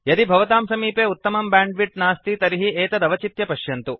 यदि भवतां समीपे उत्तमं बैण्डविड्थ नास्ति तर्हि एतत् अवचित्य पश्यन्तु